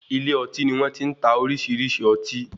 Ilé ọtí ni wọ́n ti má ń ta oríṣiríṣi ọtí.